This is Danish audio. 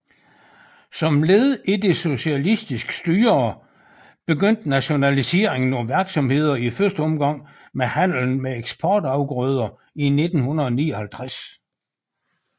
Som led i det socialistiske styre begyndte nationaliseringen af virksomheder i første omgang med handlen med eksportafgrøder i 1959